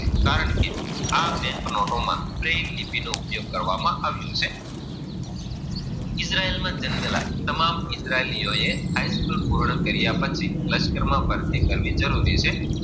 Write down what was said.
Bank નોટો માં plain લીટી નો ઉપયોગ કરવામાં આવ્યો છે. ઈજરાયલ માં જન્મેલા, તમામ દ્દ્ઇજરાયલો હાયસ્કૂલ, પુર્ણ કર્યા પછી, લશક માં ફરવી